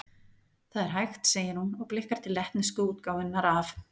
Það er hægt, segir hún, og blikkar til lettnesku útgáfunnar af